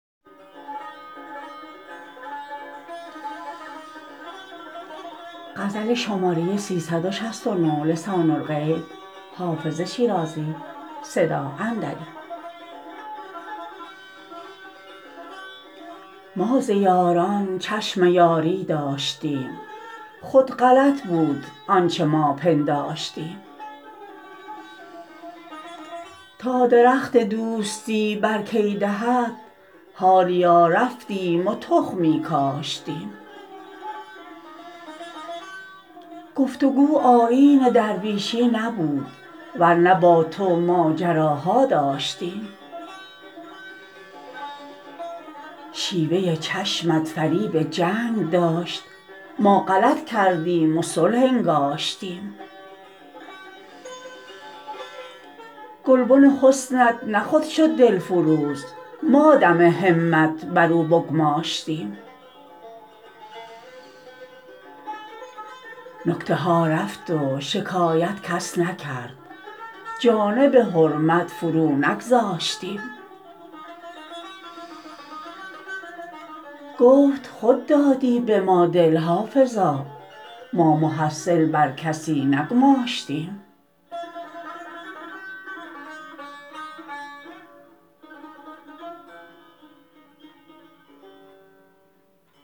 ما ز یاران چشم یاری داشتیم خود غلط بود آنچه ما پنداشتیم تا درخت دوستی بر کی دهد حالیا رفتیم و تخمی کاشتیم گفت و گو آیین درویشی نبود ور نه با تو ماجراها داشتیم شیوه چشمت فریب جنگ داشت ما غلط کردیم و صلح انگاشتیم گلبن حسنت نه خود شد دلفروز ما دم همت بر او بگماشتیم نکته ها رفت و شکایت کس نکرد جانب حرمت فرو نگذاشتیم گفت خود دادی به ما دل حافظا ما محصل بر کسی نگماشتیم